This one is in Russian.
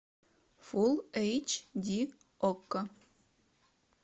фул эйч ди окко